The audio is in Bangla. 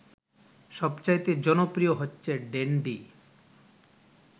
সবচাইতে জনপ্রিয় হচ্ছে ড্যান্ডি